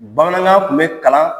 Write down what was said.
Bamanankan tun bɛ kalan